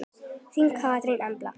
Þín Katrín Embla.